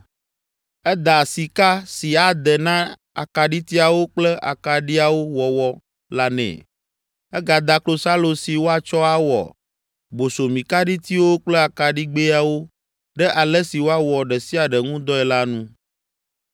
Eda sika si ade na akaɖitiawo kple akaɖiawo wɔwɔ la nɛ. Egada klosalo si woatsɔ awɔ bosomikaɖitiwo kple akaɖigbɛawo ɖe ale si woawɔ ɖe sia ɖe ŋudɔe la nu.